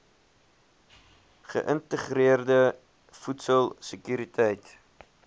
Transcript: geïntegreerde voedsel sekuriteit